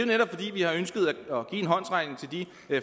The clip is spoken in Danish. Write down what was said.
netop fordi vi har ønsket at give en håndsrækning til de